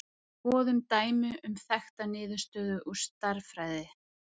Skoðum dæmi um þekkta niðurstöðu úr stærðfræði.